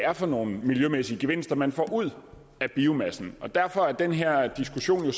er for nogle miljømæssige gevinster man får ud af biomassen derfor er den her diskussion